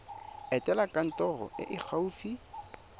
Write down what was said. etela kantoro e e gaufi